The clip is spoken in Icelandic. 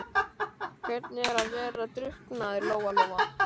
Hvernig er að vera drukknaður, Lóa Lóa?